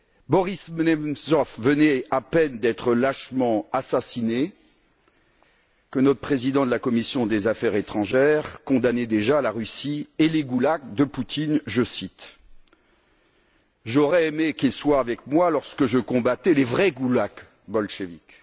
Boris Nemtsov venait à peine d'être lâchement assassiné que notre président de la commission des affaires étrangères condamnait déjà la Russie et les goulags de Poutine. J'aurais aimé qu'il soit avec moi lorsque je combattais les vrais goulags bolcheviques.